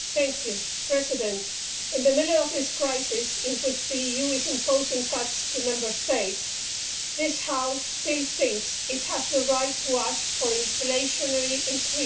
Mr President, in the middle of this crisis in which the EU is imposing cuts on Member States, this House still thinks it has the right to ask for inflationary increases.